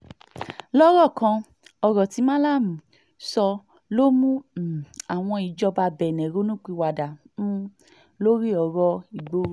lọ́rọ̀ kan ọ̀rọ̀ tí malami sọ ló mú um àwọn ìjọba benne ronú pìwàdà um lórí ọ̀rọ̀ ìgboro